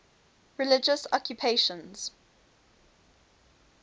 religious occupations